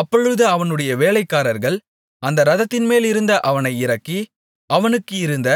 அப்பொழுது அவனுடைய வேலைக்காரர்கள் அந்த இரதத்தின்மேலிருந்த அவனை இறக்கி அவனுக்கு இருந்த